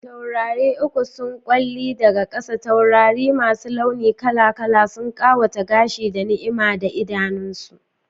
Taurari uku sun kyalli daga saƙa, taurari masu launi kala-kala sun ƙawata gashi, da ni'ima a idanunsu.